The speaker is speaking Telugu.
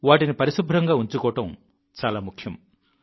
వాటిని పరిశుభ్రంగా ఉంచుకోవడం చాలా ముఖ్యం